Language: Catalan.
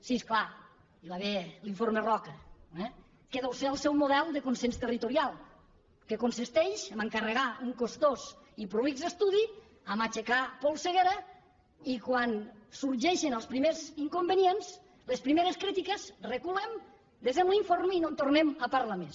sí és clar hi va haver l’informe roca eh que deu ser el seu model de consens territorial que consisteix a encarregar un costós i prolix estudi a aixecar polseguera i quan sorgeixen els primers inconvenients les primeres crítiques reculem desem l’informe i no en tornem a parlar més